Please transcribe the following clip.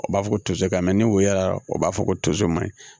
O b'a fɔ ko toseri ni woyola o b'a fɔ ko tos mai